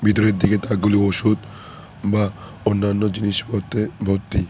ভিতরের দিকে তাকগুলি ওষুধ বা অন্যান্য জিনিসপত্রে ভর্তি।